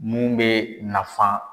Mun bɛ nafan